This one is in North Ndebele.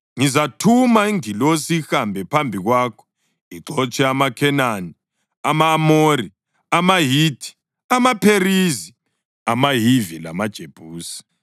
Ngizathuma ingilosi ihambe phambi kwakho ixotshe amaKhenani, ama-Amori, amaHithi, amaPherizi, amaHivi lamaJebusi.